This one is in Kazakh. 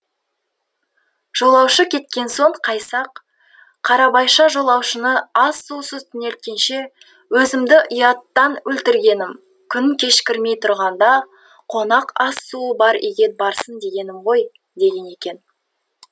жолаушы кеткен соң қайсақ қарабайша жолаушыны ас сусыз түнелткенше өзімді ұяттан өлтіргенім күн кешкірмей тұрғанда қонақ ас суы бар үйге барсын дегенім ғой деген екен